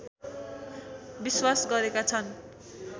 विश्वास गरेका छन्